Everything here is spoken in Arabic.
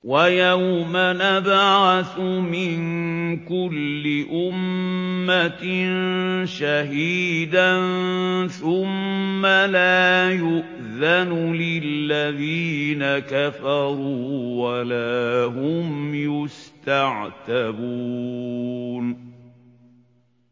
وَيَوْمَ نَبْعَثُ مِن كُلِّ أُمَّةٍ شَهِيدًا ثُمَّ لَا يُؤْذَنُ لِلَّذِينَ كَفَرُوا وَلَا هُمْ يُسْتَعْتَبُونَ